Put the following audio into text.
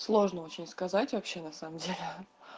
сложно очень сказать вообще на самом деле